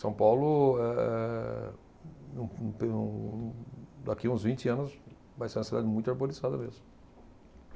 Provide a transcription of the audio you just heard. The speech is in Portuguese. São Paulo, eh, daqui uns vinte anos, vai ser uma cidade muito arborizada mesmo.